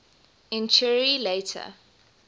entury later